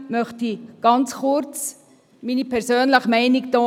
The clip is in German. Trotzdem möchte ich ganz kurz meine persönliche Meinung abgeben.